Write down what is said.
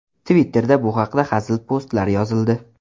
Twitter’da bu haqda hazil postlar yozildi.